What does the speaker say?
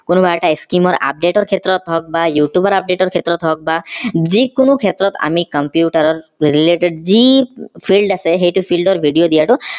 কোনোবা এটা scheme ৰ update ৰ ক্ষেত্ৰত হওক বা youtube ৰ update ৰ ক্ষেত্ৰত হওক বা যিকোনো ক্ষেত্ৰত আমি computer related যি field আছে সেইটো field ৰ video দিয়াটো